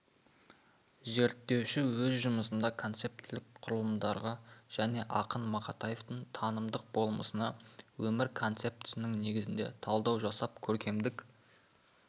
зерттеуші өз жұмысында концептілік құрылымдарға және ақын мақатаевтың танымдық болмысына өмір концептісінің негізінде талдау жасап көркемдік